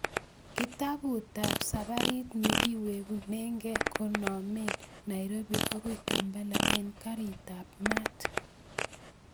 Kitaputab saparit negiwegunenge konomen nairobi agoy kampala en garitab maat